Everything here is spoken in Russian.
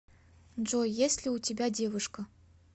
джой есть ли у тебя девушка